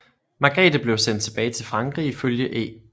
Margrete blev sendt tilbage til Frankrig ifølge E